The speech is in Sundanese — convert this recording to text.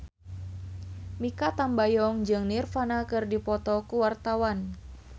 Mikha Tambayong jeung Nirvana keur dipoto ku wartawan